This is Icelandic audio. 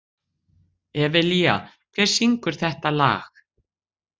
Evelía, hver syngur þetta lag?